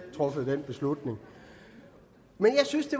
truffet den beslutning men jeg synes det